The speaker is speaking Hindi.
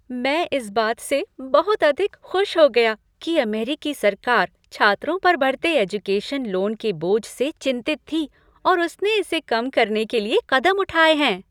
मैं इस बात से बहुत अधिक खुश हो गया कि अमेरिकी सरकार छात्रों पर बढ़ते एजुकेशन लोन के बोझ से चिंतित थी और उसने इसे कम करने के लिए कदम उठाए हैं।